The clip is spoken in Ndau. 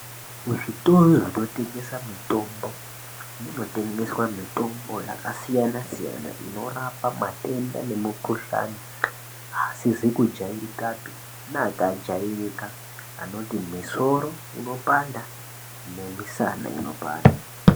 Kuzvitoro zvinotengesa mutombo, munotengeswa mitombo yakasiyana-siyana inorapa matenda nemikhuhlani asizi kujairikapi neakajairika, anoti misoro unopanda nemisana inopanda.